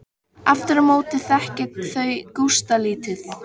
Aftur á móti þekkja þau Gústa lítið.